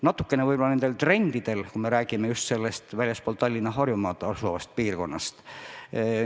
Natukene võib-olla teatavatel trendidel, kui me räägime just väljastpoolt Tallinna ja Harjumaad algavast piirkonnast.